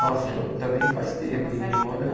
Nossa, também faz tempo. E olha